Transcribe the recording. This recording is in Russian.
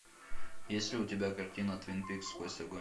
есть ли у тебя картина твин пикс сквозь огонь